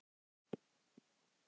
En varstu ekki hræddur?